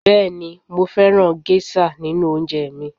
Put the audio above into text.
Bẹẹni mo fẹ́ràn gẹ́ṣà nínú oúnjẹ mi